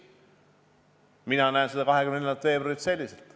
Mina näen 24. veebruari selliselt.